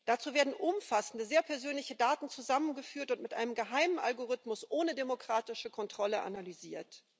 Dazu werden umfassende, sehr persönliche Daten zusammengeführt und mit einem geheimen Algorithmus ohne demokratische Kontrolle analysiert.